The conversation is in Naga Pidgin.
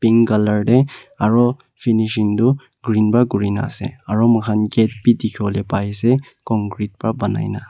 Pink colour dae aro finishing tuh green pra kurena ase aro mokhan gate bhi dekhevo pai ase concrete pra banaina.